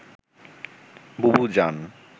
বুবু জান